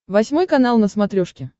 восьмой канал на смотрешке